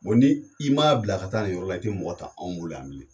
O ni i m'a bila ka taa nin yɔrɔ la, i te mɔgɔ ta anw bolo yan bilen.